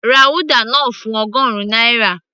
ra uda náà fún ọgọrun náírà